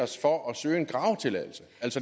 så står